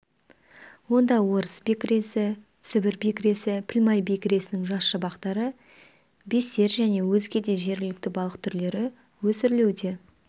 онда орыс бекіресі сібір бекіресі пілмай бекіресінің жас шабақтары бестер және өзге де жергілікті балық түрлері өсірілуде